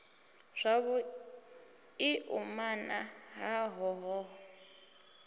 zwavhu i umana ha hoho